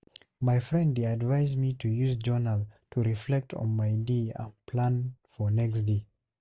My friend dey advise me to use journal to reflect on my day and plan for next day.